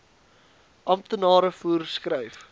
amptenare voer skryf